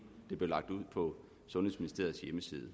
det blev lagt ud på sundhedsministeriets hjemmeside